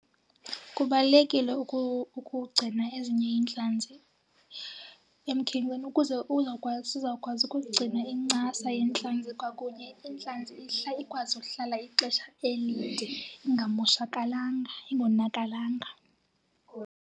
Kubalulekile ukugcina ezinye iintlanzi emkhenkceni ukuze uzawukwazi, zizawukwazi ukugcina incasa yentlanzi kwakunye intlanzi ihlala ikwazi ukuhlala ixesha elide ingamoshakalanga, ingonakalanga.